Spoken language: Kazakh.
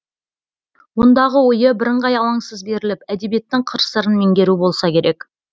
ондағы ойы бірыңғай алаңсыз беріліп әдебиеттің қыр сырын меңгеру болса керек